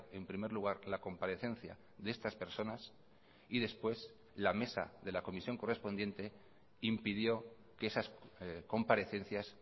en primer lugar la comparecencia de estas personas y después la mesa de la comisión correspondiente impidió que esas comparecencias